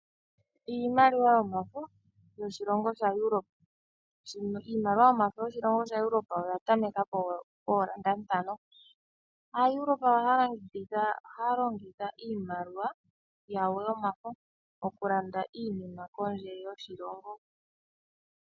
Iimaliwa yomafo yoshilongo shaEuropa. Iimaliwa yomafo yoshilongo shaEuropa oya tameka pooEuro ntano. AaEuropa ohaya longitha iimaliwa yawo yomafo okulanda iinima pondje yoshilongo.